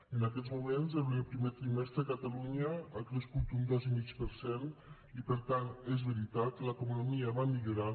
en aquests moments en el primer trimestre catalunya ha crescut un dos i mig per cent i per tant és veritat l’economia va millorant